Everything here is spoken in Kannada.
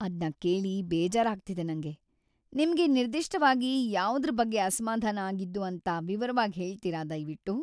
ಅದ್ನ ಕೇಳಿ ಬೇಜಾರಾಗ್ತಿದೆ ನಂಗೆ. ನಿಮ್ಗೆ ನಿರ್ದಿಷ್ಟವಾಗಿ ಯಾವುದ್ರ್ ಬಗ್ಗೆ ಅಸಮಾಧಾನ ಆಗಿದ್ದು ಅಂತ ವಿವರವಾಗ್‌ ಹೇಳ್ತೀರ ದಯ್ವಿಟ್ಟು?